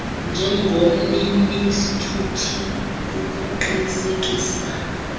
njengomnini sithuthi kukuqinisekisa